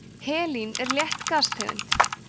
helín er létt gastegund